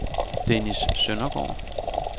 Dennis Søndergaard